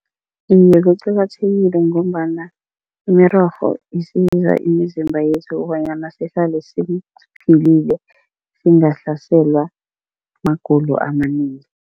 Iye, kuqakathekile ngombana imirorho isiza imizimba yethu kobanyana sihlale siphilile, singahlaselwa magulo amanengi.